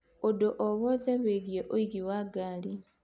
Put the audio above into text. ũndũ o wothe wĩgiĩ ũingĩ wa ngari